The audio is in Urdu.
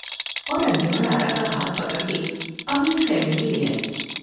اور انجمن آرا کا ہاتھ پکڑ کے اپنے خیمے میں لے آئی ۔